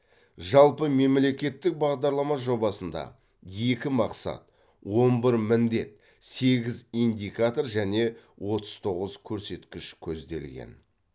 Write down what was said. жалпы мемлекеттік бағдарлама жобасында екі мақсат он бір міндет сегіз индикатор және отыз тоғыз көрсеткіш көзделген